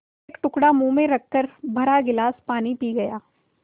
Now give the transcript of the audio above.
एक टुकड़ा मुँह में रखकर भरा गिलास पानी पी गया